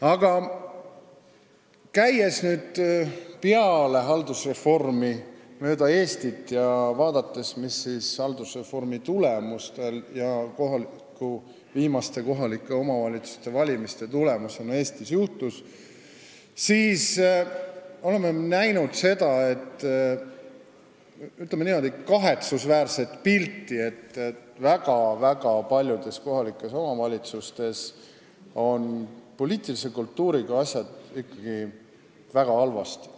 Aga käies peale haldusreformi mööda Eestit ja vaadates, mis haldusreformi ja viimaste kohalike omavalitsuste valimiste tulemusena Eestis on juhtunud, oleme näinud seda, ütleme niimoodi, kahetsusväärset pilti, et väga-väga paljudes kohalikes omavalitsustes on poliitilise kultuuriga asjad ikka väga halvasti.